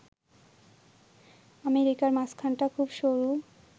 আমেরিকার মাঝখানটা খুব সরু